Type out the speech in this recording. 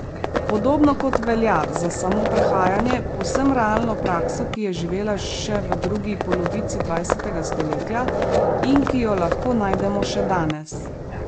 Podobno kot velja za samo prehajanje, povsem realno prakso, ki je živela še v drugi polovici dvajsetega stoletja in ki jo lahko najdemo še danes.